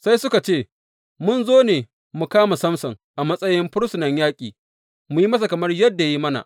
Sai suka ce, Mun zo ne mu kama Samson, a matsayin fursunan yaƙi, mu yi masa kamar yadda ya yi mana.